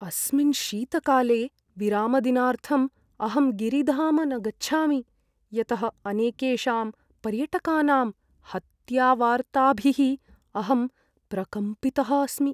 अस्मिन् शीतकाले विरामदिनार्थम् अहं गिरिधाम न गच्छामि, यतः अनेकेषां पर्यटकानां हत्यावार्ताभिः अहं प्रकम्पितः अस्मि।